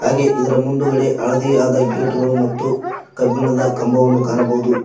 ಹಾಗೆ ಇದರ ಮುಂದುಗಡೆ ಹಳದಿಯಾದ ಗೇಟ್ಗಳು ಮತ್ತು ಕಬ್ಬಿಣದ ಕಂಬವನ್ನು ಕಾಣಬಹುದು.